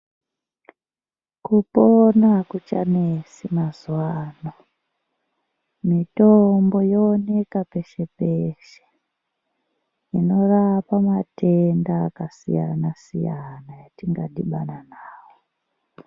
Kupona akuchanesi mazuwano, mitombo yooneka peshe peshe inorapa matenda akasiyana siyana atingadhibana nawo.